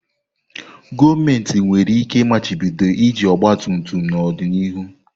Gọọmentị nwere ike machibido iji ọgba tum tum n'ọdịnihu.